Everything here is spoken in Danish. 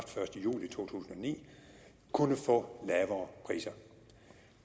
ni kunne få lavere priser